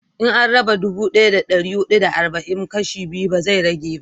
in an raba dubu daya da dari hudu da arba'in kashi biyu ba zai rage ba